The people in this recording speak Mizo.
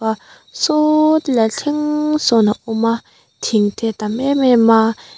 saww tilai thleng sawn a awm a thing te a tam em em a.